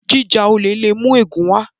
jíjà olè lè mú ègún wá